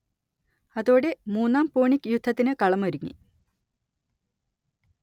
അതോടെ മൂന്നാം പൂണിക് യുദ്ധത്തിന് കളം ഒരുങ്ങി